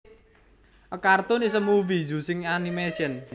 A cartoon is a movie using animation